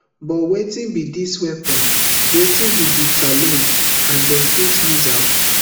but wetin be dis weapon wetin be di challenges and dem fit use am